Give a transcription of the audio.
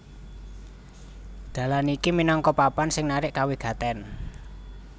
Dalan iki minangka papan sing narik kawigatèn